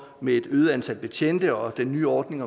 med et øget antal betjente og den nye ordning